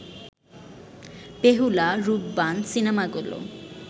বেহুলা, রূপবান সিনেমাগুলো